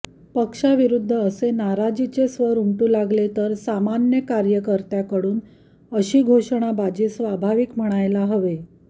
पक्षाविरूद्ध असे नाराजीचे स्वर उमटू लागले तर सामान्य कार्यकर्त्यांकडून अशी घेषणाबाजी स्वाभाविक म्हणायला हवे